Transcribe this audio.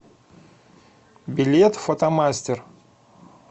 билет фотомастер